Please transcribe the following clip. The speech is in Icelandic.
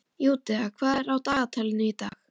Júdea, hvað er á dagatalinu í dag?